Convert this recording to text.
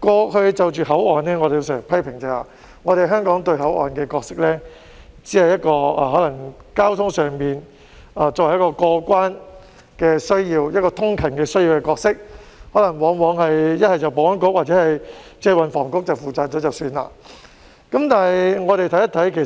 過去就着口岸，我們經常批評，香港賦予口岸的角色，只是在交通上滿足過關和通勤的需要，往往不是由保安局負責，便是由運輸及房屋局負責，僅此而已，但我們看一看，